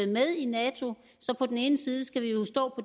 med i nato så på den ene side skal vi jo stå